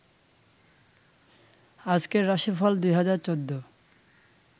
আজকের রাশিফল ২০১৪